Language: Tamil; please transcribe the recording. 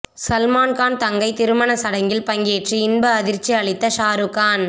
சல்மான்கான் தங்கை திருமண சடங்கில் பங்கேற்று இன்ப அதிர்ச்சி அளித்த ஷாருக்கான்